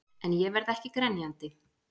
En ég verð ekki grenjandi.